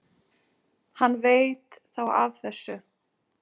Hann veit þá af þessu?